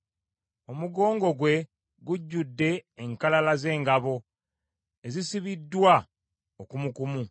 Omugongo gwe gujjudde enkalala z’engabo ezisibiddwa okumukumu.